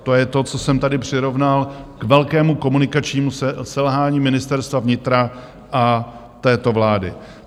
To je to, co jsem tady přirovnal k velkému komunikačnímu selhání Ministerstva vnitra a této vlády.